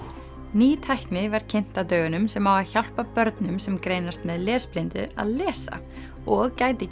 ný tækni var kynnt á dögunum sem á að hjálpa börnum sem greinast með lesblindu að lesa og gæti